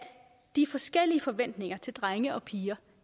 de forskellige forventninger til drenge og piger